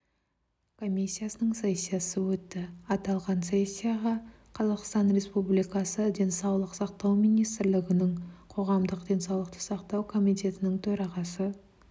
комиссиясының сессиясы өтті аталған сессиға қазақстан республикасы денсаулық сақтау министрлігінің қоғамдық денсаулықты сақтау комитетінің төрағасы